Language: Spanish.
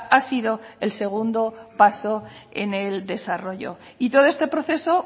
ha sido el segundo paso en el desarrollo y todo este proceso